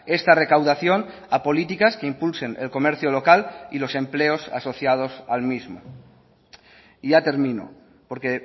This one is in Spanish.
esta recaudación a políticas que impulsen el comercio local y los empleos asociados al mismo y ya termino porque